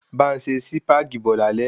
Bá n se Sípàgì bo lálé